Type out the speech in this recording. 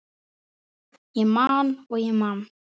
Ég man og ég man.